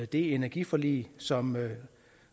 det energiforlig som